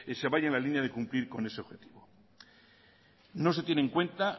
se vaya en la línea de cumplir con ese objetivo no se tiene en cuenta